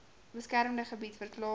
beskermde gebied verklaar